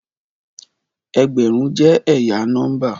Ẹgbẹrun jẹ ẹya nọmba